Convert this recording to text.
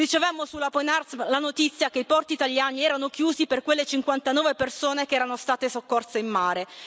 Ricevemmo sulla Open Arms la notizia che i porti italiani erano chiusi per quelle 59 persone che erano state soccorse in mare.